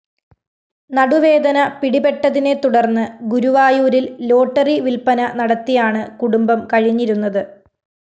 നടുവേദന പിടിപെട്ടതിനെതുടര്‍ന്ന് ഗുരുവായൂരില്‍ ലോട്ടറി വില്‍പ്പന നടത്തിയാണ് കുടുംബം കഴിഞ്ഞിരുന്നത്